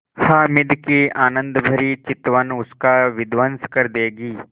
हामिद की आनंदभरी चितवन उसका विध्वंस कर देगी